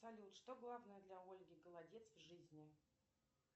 салют что главное для ольги голодец в жизни